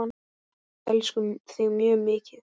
Við elskum þig mjög mikið.